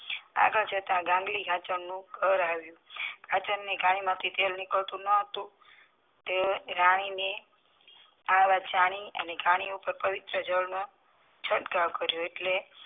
આગળ જતા ગાંગલી ઘર આવ્યુ ઘાણી માંથી તેલ નીકળતું ન હતું તે રાની ને આ વાત જાણી અને ઘાણી ઉપર પવિત્ર જળ છટકાવો કરીયો એટલે